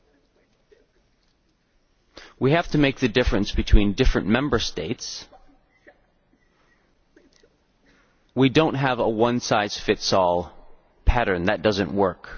Viewing the great difference between different Member States, we cannot have a one size fits all pattern that does not work.